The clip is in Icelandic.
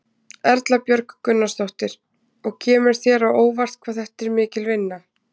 Erla Björg Gunnarsdóttir: Og kemur þér á óvart hvað þetta er mikil vinna?